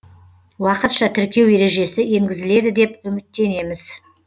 уақытша тіркеу ережесі енгізіледі деп үміттенеміз